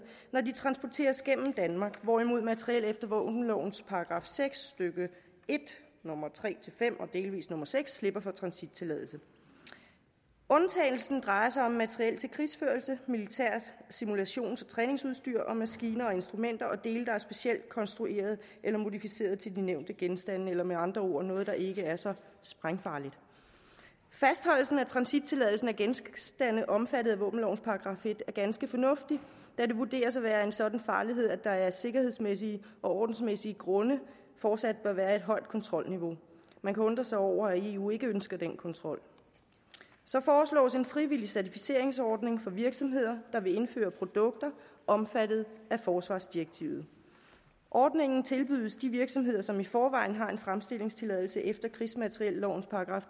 når de transporteres gennem danmark hvorimod materiel efter våbenlovens § seks stykke en nummer tre fem og delvis nummer seks slipper for transittilladelse undtagelsen drejer sig om materiel til krigsførelse militært simulations og træningsudstyr og maskiner og instrumenter og dele der er specielt konstrueret eller modificeret til de nævnte genstande eller med andre ord noget der ikke er så sprængfarligt fastholdelsen af transittilladelsen af genstande omfattet af våbenlovens § en er ganske fornuftig da de vurderes at være af en sådan farlighed at der af sikkerhedsmæssige og ordensmæssige grunde fortsat bør være et højt kontrolniveau man kan undre sig over at eu ikke ønsker den kontrol så foreslås en frivillig certificeringsordning for virksomheder der indfører produkter omfattet af forsvarsdirektivet ordningen tilbydes de virksomheder som i forvejen har en fremstillingstilladelse efter krigsmateriellovens §